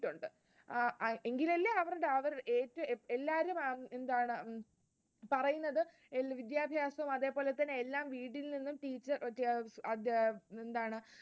ആഹ് എങ്കിൽ അല്ലേ എല്ലാരും പറയുന്നത് വിദ്യാഭ്യാസം അതേപോലെതന്നെ എല്ലാം വീട്ടിനു